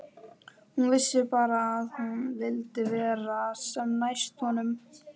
Hún vissi bara að hún vildi vera sem næst honum.